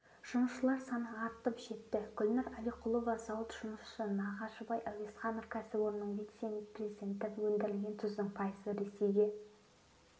жұмысшылар саны артып жетті гүлнұр әлиқұлова зауыт жұмысшысы нағашыбай әуезханов кәсіпорынның вице-президенті өндірілген тұздың пайызы ресейге